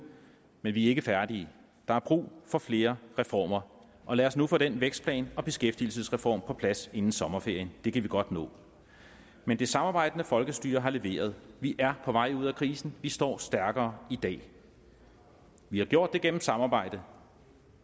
men vi er ikke færdige der er brug for flere reformer og lad os nu få den vækstplan og beskæftigelsesreform på plads inden sommerferien det kan vi godt nå men det samarbejdende folkestyre har leveret vi er på vej ud af krisen vi står stærkere i dag vi har gjort det gennem samarbejde